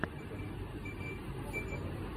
покажи мне эпизод двадцать семь касла рока